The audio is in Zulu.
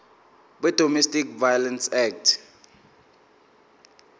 wedomestic violence act